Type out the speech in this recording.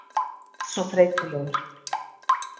Þú ert svo þreytulegur.